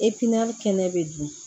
kɛnɛ bɛ dun